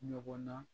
Ɲɔgɔn na